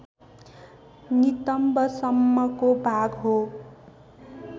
नितम्ब सम्मको भाग हो